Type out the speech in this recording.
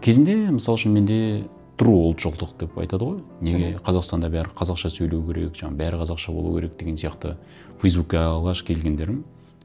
кезінде мысал үшін менде ұлтшылдық деп айтады ғой неге қазақстанда бәрі қазақша сөйлеу керек жаңа бәрі қазақша болу керек деген сияқты фейсбукке алғаш келгендерім